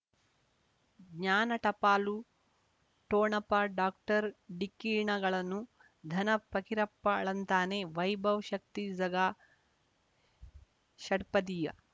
ಜ್ಞಾನ ಟಪಾಲು ಠೊಣಪ ಡಾಕ್ಟರ್ ಢಿಕ್ಕಿ ಣಗಳನು ಧನ ಫಕೀರಪ್ಪ ಳಂತಾನೆ ವೈಭವ್ ಶಕ್ತಿ ಝಗಾ ಷಟ್ಪದಿಯ